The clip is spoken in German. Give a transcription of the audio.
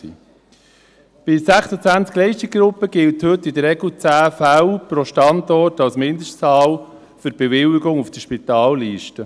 Bei 26 Leistungsgruppen gilt heute in der Regel 10 Fälle pro Standort als Mindestzahl für die Bewilligung auf der Spitalliste.